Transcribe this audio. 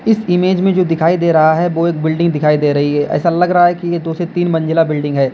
इस इमेज में जो दिखाई दे रहा है वो एक बिल्डिंग दिखाई दे रही है ऐसा लग रहा है कि ये दो से तीन मंजिला बिल्डिंग है।